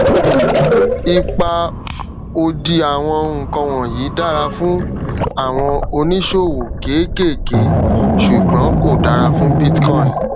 ipa òdì àwọn nǹkan wọnyí dára fún àwọn oníṣòwò kéékèèké ṣùgbón kò dára fún bitcoin